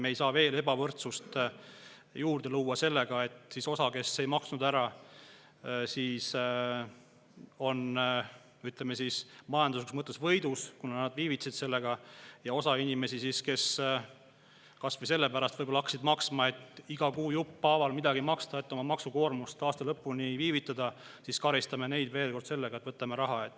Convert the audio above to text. Me ei saa veel ebavõrdsust juurde luua sellega, et osa inimesi, kes ei maksnud ära, ütleme siis, majanduslikus mõttes võidavad, kuna nad viivitasid sellega, ja osa, kes hakkasid võib-olla kas või sellepärast maksma, et iga kuu jupphaaval midagi maksta ja oma maksukoormus aasta, karistame veel kord sellega, et raha.